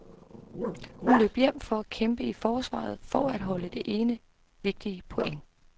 Hun løb hjem for at kæmpe i forsvaret for at holde det ene vigtige point.